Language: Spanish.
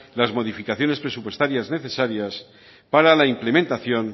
las modificaciones presupuestarias necesarias para la implementación